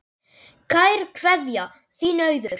Kær kveðja, þín Auður